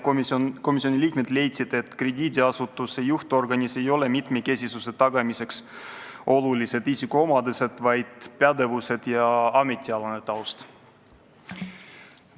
Komisjoni liikmeid leidsid, et krediidiasutuste juhtorganis ei ole mitmekesisuse tagamiseks olulised isikuomadused, vaid pädevus ja ametialane taust.